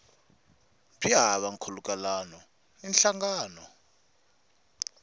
byi hava nkhulukelano na nhlangano